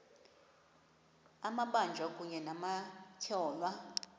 amabanjwa kunye nabatyholwa